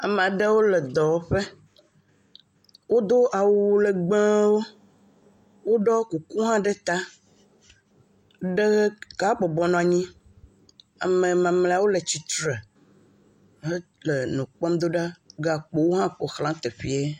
Ame aɖewo le dɔwɔƒe wodo awu legbewo, woɖɔ kuku hã ɖe ta, ɖeka bɔbɔ nɔ anyi, ame mamleawo le tsitre hele nu kpɔm do ɖaa, gakpowo hã ƒoxla teƒee.